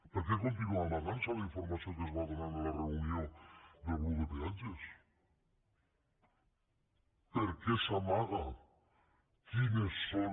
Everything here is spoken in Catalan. per què continua amagant se la informació que es va donar en la reunió del grup de peatges per què s’amaga quines són